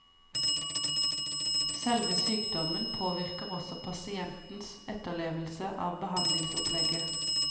Selve sykdommen påvirker også pasientens etterlevelse av behandlingsopplegget.